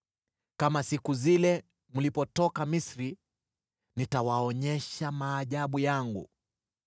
“Kama siku zile mlipotoka Misri, nitawaonyesha maajabu yangu.”